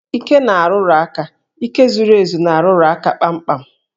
Íké na-arụrụ aka, íké zuru ezu na-arụrụ aka kpamkpam